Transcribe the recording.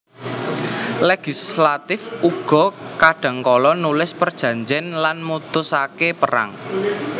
Legislatif uga kadhangkala nulis perjanjèn lan mutusaké perang